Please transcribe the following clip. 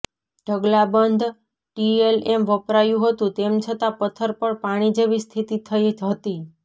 ઢગલાબંધ TLM વપરાયું હતું તેમ છતાં પથ્થર પર પાણી જેવી સ્થિતિ થઇ હતી